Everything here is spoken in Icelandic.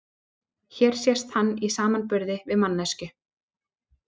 Hér sést hann í samanburði við manneskju.